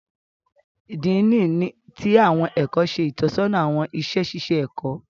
Dean ti awọn ẹkọ ṣe itọsọna awọn iṣẹ ṣiṣe ẹkọ.